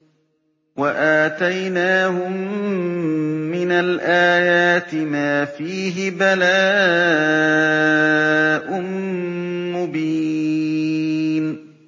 وَآتَيْنَاهُم مِّنَ الْآيَاتِ مَا فِيهِ بَلَاءٌ مُّبِينٌ